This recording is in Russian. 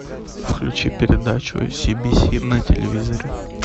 включи передачу си би си на телевизоре